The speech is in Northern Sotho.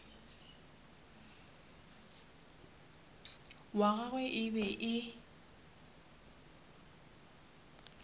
wa gagwe e be e